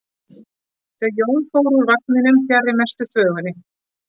Þau Jón fóru úr vagninum fjarri mestu þvögunni.